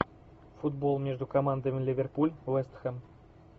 футбол между командами ливерпуль вест хэм